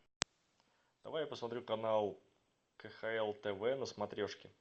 давай я посмотрю канал кхл тв на смотрешке